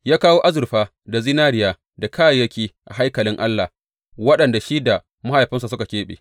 Ya kawo azurfa da zinariya da kayayyaki a haikalin Allah waɗanda shi da mahaifinsa suka keɓe.